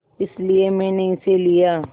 इसलिए मैंने इसे लिया